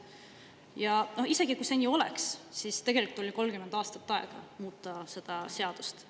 Ja isegi kui see nii oleks, siis tegelikult oli 30 aastat aega muuta seda seadust.